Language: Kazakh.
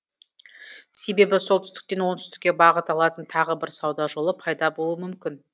себебі солтүстіктен оңтүстікке бағыт алатын тағы бір сауда жолы пайда болуы мүмкін